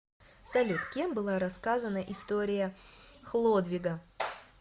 салют кем была рассказана история хлодвига